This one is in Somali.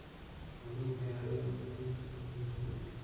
Xooluhu waxay caawiyaan kordhinta dakhliga qoyska.